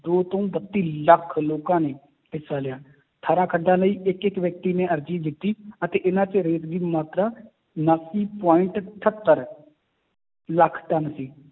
ਦੋ ਤੋਂ ਬੱਤੀ ਲੱਖ ਲੋਕਾਂ ਨੇ ਹਿੱਸਾ ਲਿਆ ਅਠਾਰਾਂ ਖੱਡਾਂ ਲਈ ਇੱਕ ਇੱਕ ਵਿਅਕਤੀ ਨੇ ਅਰਜ਼ੀ ਦਿੱਤੀ ਅਤੇ ਇਹਨਾਂ 'ਚ ਰੇਤ ਦੀ ਮਾਤਰਾ ਉਣਾਸੀ point ਅਠੱਤਰ ਲੱਖ ਟੱਨ ਸੀ